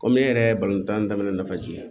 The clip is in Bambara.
Kɔmi ne yɛrɛ ye balontan daminɛ nafa jigin